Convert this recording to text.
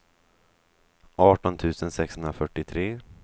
arton tusen sexhundrafyrtiotre